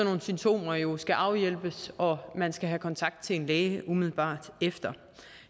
nogle symptomer jo skal afhjælpes og at man skal have kontakt til en læge umiddelbart efter